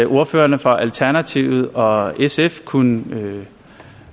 ordførerne for alternativet og sf kunne